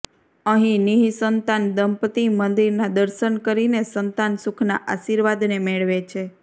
અહીં નિઃસંતાન દંપત્તિ મંદિર ના દર્શન કરીને સંતાન સુખ ના આશીર્વાદ ને મેળવે છે